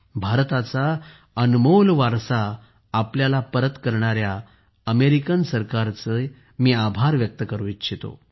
भारताचा अनमोल वारसा आपल्याला परत करणाऱ्या अमेरिकी सरकारचे मी आभार व्यक्त करु इच्छितो